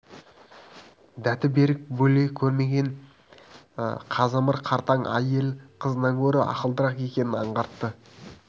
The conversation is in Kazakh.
дәті берік бәле көрген қазымыр қартаң әйел қызынан гөрі ақылдырақ екенін аңғартты